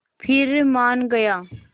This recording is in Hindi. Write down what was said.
फिर मान गया